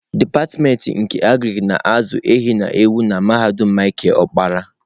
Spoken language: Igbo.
Dipatịmentị nke Agrik na-azụ ehi na ewu na mahadum Micheal okpara.